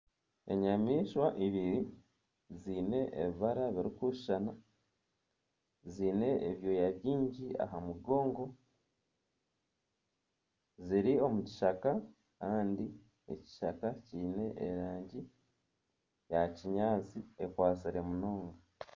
Enyamaishwa ibiri ziine ebibara birikushushana ziine ebyoya bingi aha mugongo ziri omu kishaka kandi ekishaka kiine erangi ya kinyaatsi ekwatsire munonga